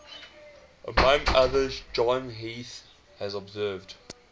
among others john heath has observed